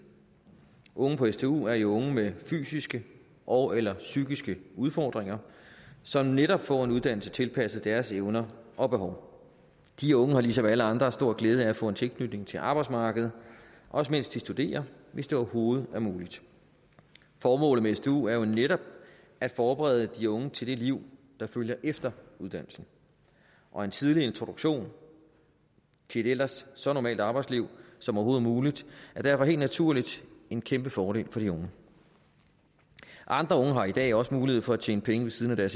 unge på stu er jo unge med fysiske ogeller psykiske udfordringer som netop får en uddannelse tilpasset deres evner og behov de unge har ligesom alle andre stor glæde af at få en tilknytning til arbejdsmarkedet også mens de studerer hvis det overhovedet er muligt formålet med stu er jo netop at forberede de unge til det liv der følger efter uddannelsen og en tidlig introduktion til et ellers så normalt arbejdsliv som overhovedet muligt er derfor helt naturligt en kæmpe fordel for de unge andre unge har i dag også mulighed for at tjene penge ved siden af